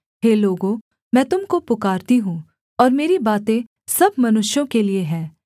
हे लोगों मैं तुम को पुकारती हूँ और मेरी बातें सब मनुष्यों के लिये हैं